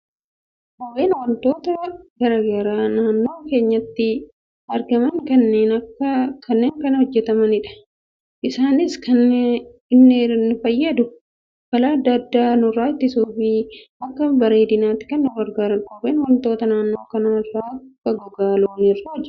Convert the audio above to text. Kopheen waantota garaagaraa naannoo keenyatti argaman irraa kan hojjetamudha. Innis kan inni nu fayyadu, balaa addaa addaa nurraa ittisuufii, akka bareedinaatti kan nu gargaarudha. Kopheen waantota naannoo kan akka gogaa loonii irraa hojjetama.